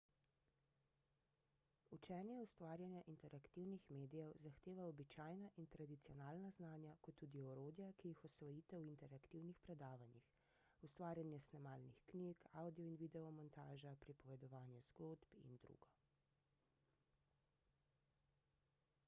učenje ustvarjanja interaktivnih medijev zahteva običajna in tradicionalna znanja kot tudi orodja ki jih osvojite v interaktivnih predavanjih ustvarjanje snemalnih knjig avdio in video montaža pripovedovanje zgodb idr.